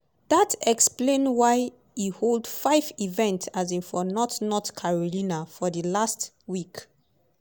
dat explain why e hold five events um for north north carolina for di last week.